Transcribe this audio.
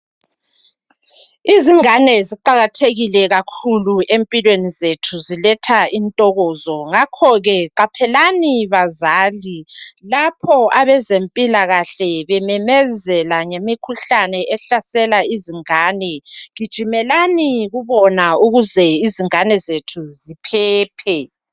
Izingane ziqakathekile kakhulu empilweni zethu ziletha intokozo, ngakho ke qaphelani bazali lapho abezempilakahle bememezela ngemikhuhlane ehlasela izingane. Gijimelani kubona ukuze izingane zethu ziphephe.